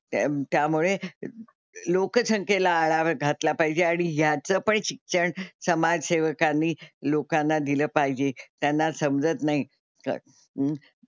त्यामुळे लोकसंख्येला आळा घातला पाहिजे आणि ह्याचं पण शिक्षण समाजसेवकांनी लोकांना दिलं पाहिजे. त्यांना समजत नाही क,